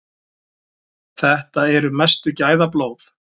Þetta eru mestu gæðablóð.